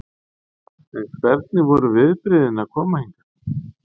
En hvernig voru viðbrigðin að koma hingað?